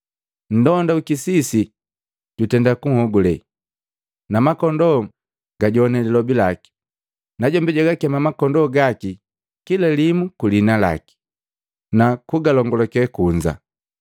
Nndonda wikisisi jutenda kunhogule, na makondoo gajowana lilobi laki, najombi jwagakema makondoo gaki kila limu ku liina laki, na kugalongulake kunza.